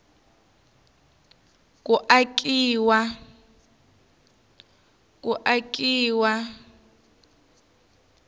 ku akiwa ka tigingho